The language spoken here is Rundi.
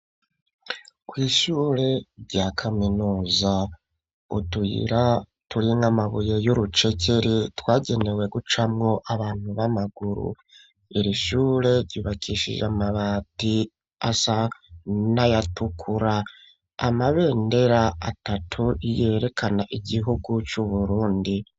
Kw'ishure rya kaminuza, utuyira turi nk'amabuye y'urucekeri twagenewe gucamwo abantu b'amaguru, iri shure ryubakishije amabati asa n'ayatukura, amabendera atatu yerekana igihugu c'Uburundi.